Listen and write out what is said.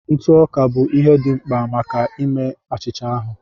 Ntụ ọka bụ ihe dị mkpa maka ime achịcha ahụ